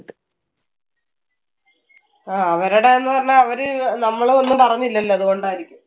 ആ അവരുടെന്നു പറഞ്ഞാൽ അവര് അഹ് നമ്മളെ ഒന്നും പറഞ്ഞില്ലല്ലോ. അതുകൊണ്ട് ആയിരിക്കും.